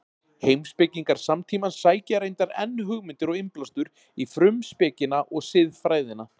Heimspekingar samtímans sækja reyndar enn hugmyndir og innblástur í Frumspekina og Siðfræðina.